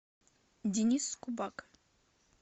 денис скубак